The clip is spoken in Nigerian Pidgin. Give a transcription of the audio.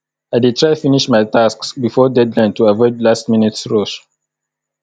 i dey try finish my tasks before deadline to avoid lastminute rush